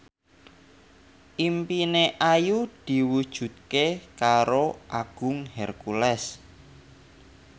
impine Ayu diwujudke karo Agung Hercules